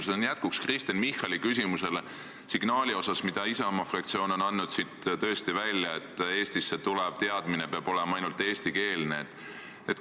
See on jätkuks Kristen Michali küsimusele signaali kohta, mille Isamaa fraktsioon on siit tõesti välja saatnud: Eestisse tulev teadmine peab olema ainult eestikeelne.